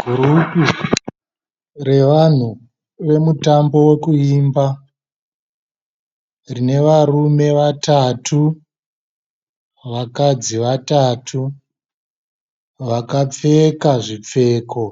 Gurupu revanhu vemutambo wekuimba rine varume vatatu vakadzi vatatu vakapfeka zvipfeko